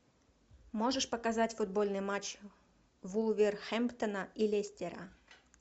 можешь показать футбольный матч вулверхэмптона и лестера